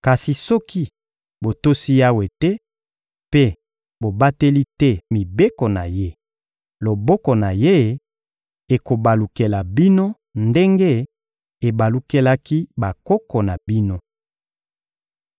Kasi soki botosi Yawe te mpe bobateli te mibeko na Ye, loboko na Ye ekobalukela bino ndenge ebalukelaki bakoko na bino.